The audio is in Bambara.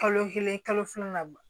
Kalo kelen kalo filanan